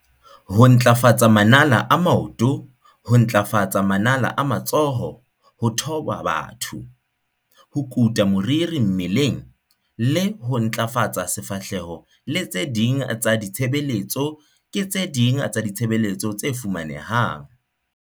Ho ntlafatsa manala a maoto, ho ntlafatsa manala a matsoho, ho thoba batho, ho kuta moriri mmeleng le ho ntlafatsa sefahleho le tse ding tsa ditshebeletso ke tse ding tsa ditshebeletso tse fumanehang.